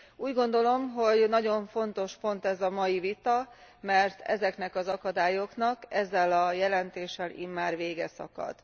Úgy gondolom, hogy nagyon fontos pont ez a mai vita, mert ezeknek az akadályoknak ezzel a jelentéssel immár vége szakad.